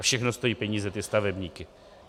A všechno stojí peníze ty stavebníky.